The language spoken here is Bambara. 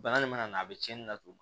Bana nin mana na a be cɛnni laturu ma